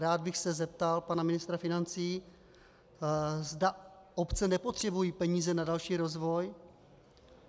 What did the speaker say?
Rád bych se zeptal pana ministra financí, zda obce nepotřebují peníze na další rozvoj.